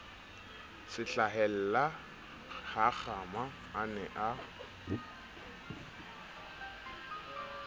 se hlahellahakgama a ne a